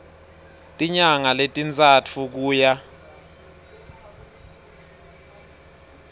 tinyanga letintsatfu kuya